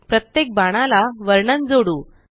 प्रत्येक बाणाला वर्णन जोडू